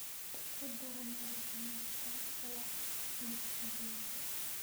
ku dar maraq liiska wax iibsigayga